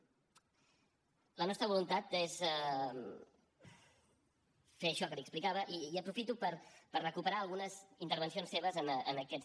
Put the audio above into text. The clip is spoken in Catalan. la nostra voluntat és fer això que li explicava i aprofito per recuperar algunes intervencions seves en aquests